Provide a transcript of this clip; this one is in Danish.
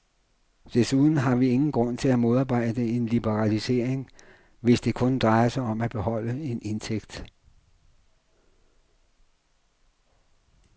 Desuden har vi ingen grund til at modarbejde en liberalisering, hvis det kun drejer sig om at beholde en indtægt.